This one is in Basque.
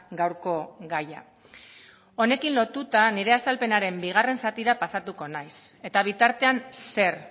gaurko gaia honekin lotuta nire azalpenaren bigarren zatira pasatuko naiz eta bitartean zer